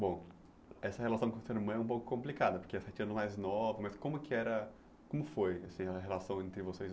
Bom, essa relação com a sua irmã é um pouco complicada, porque é sete anos mais nova, mas como que era como foi assim a relação entre vocês?